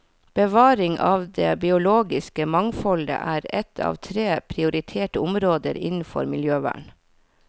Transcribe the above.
Bevaring av det biologiske mangfoldet er ett av tre prioriterte områder innenfor miljøvern.